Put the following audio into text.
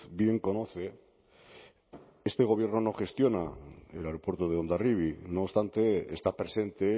bien conoce este gobierno no gestiona el aeropuerto de hondarribia no obstante está presente